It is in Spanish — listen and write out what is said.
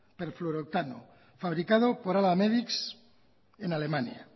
perfluorooctano fabricado por alamedics en alemania